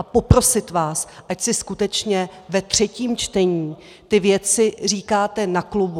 A poprosit vás, ať si skutečně ve třetím čtení ty věci říkáte na klubu.